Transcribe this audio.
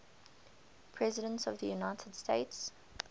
presidents of the united states